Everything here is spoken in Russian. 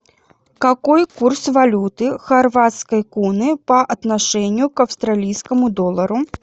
какой курс валюты хорватской куны по отношению к австралийскому доллару